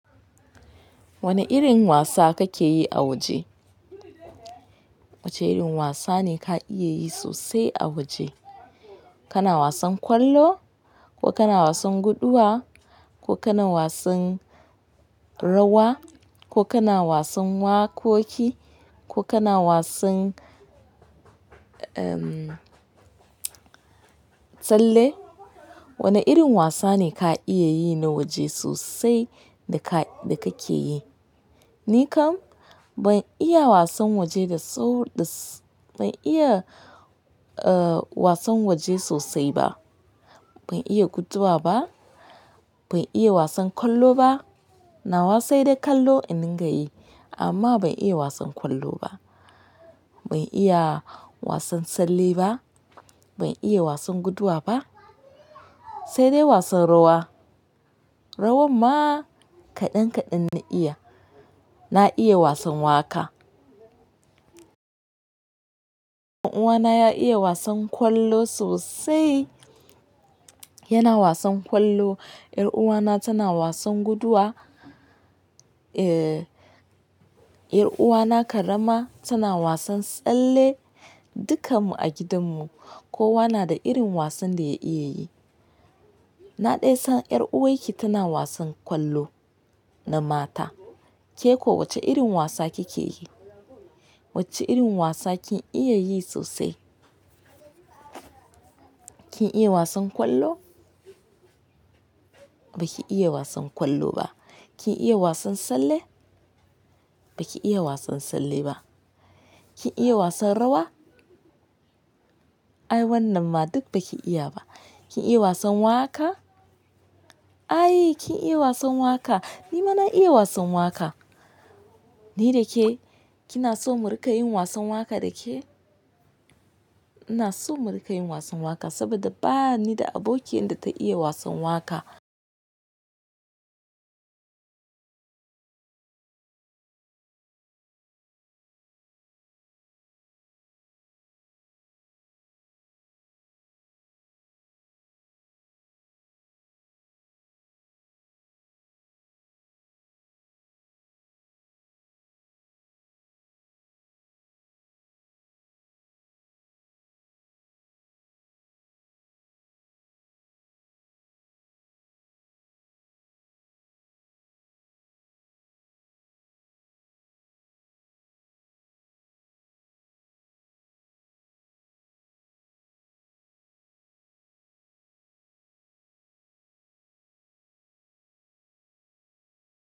Wane irin wasa kake yi a waje? Wace irin wasa ne ka iya yi sosai a waje? Kana wasan kwallo, ko kana wasan guduwa, ko kana wasan rawa, ko kana wasan wakoki, ko kana wasan, uhm, tsalle? Wane irin wasa ne ka iya yi na waje sosai da ka, da kake yi? Ni kam ban iya wasan waje da so, da s-- ban iya, uh, wasan waje sosai ba. Ban iya guduwa ba, ban iya wasan kwallo ba. Nawa sai dai kallo in dinga yi amma ban iya wasan kwallo ba. Ban iya wasan tsalle ba, ban iya wasan guduwa ba, sai dai wasan rawa. Rawan ma kaɗan kaɗan na iya. Na iya wasan waka. Dan uwa na ya iya wasan kwallo sosai. Yana wasan kwallo. 'Yar uwa na tana wasan guduwa. Ehh, yar uwa na karama tana wasan tsalle. Dukan mu a gidan mu kowa na da irin wasan da ya iya yi. Na ɗai san 'yar uwar ki tana wasan kwallo na mata. Ke ko wace irin wasa kike yi? Wace irin wasa kin iya yi sosai? Kin iya wasan kwallo? Ba ki iya wasan kwallo ba. Kin iya wasan tsalle? Ba ki iya wasan tsalle ba. Kin iya wasan rawa? Ai wannan ma duk baki iya ba. Kin iya wasan waka? Ai kin iya wasan waka. Ni ma na iya wasan waka. Ni da ke, kina so mu rika yin wasan waka da ke? Ina so mu rika yin wasan waka saboda bani da abokiyan da ta iya wasan waka.